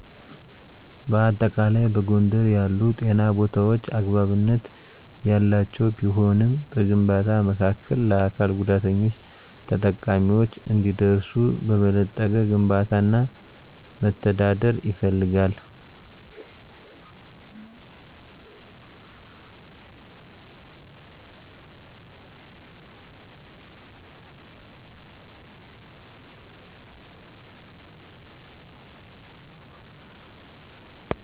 በአጠቃላይ፣ በጎንደር ያሉ ጤና ቦታዎች አግባብነት ያላቸው ቢሆንም፣ በግንባታ መካከል ለአካል ጉዳተኞች ተጠቃሚዎች እንዲደርሱ በበለጠ ግንባታ እና መተዳደር ይፈልጋል።